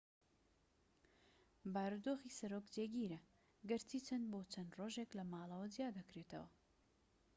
بارودۆخی سەرۆک جێگیرە گەرچی چەند بۆ چەند ڕۆژێک لەماڵەوە جیا دەکرێتەوە